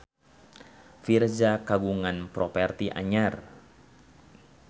Virzha kagungan properti anyar